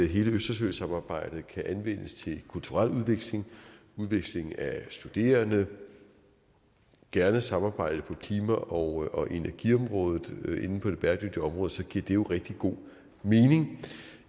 hele østersøsamarbejdet kan anvendes til kulturel udveksling udveksling af studerende gerne samarbejde på klima og energiområdet inden for det bæredygtige område så giver det jo rigtig god mening